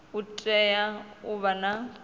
u tea u vha na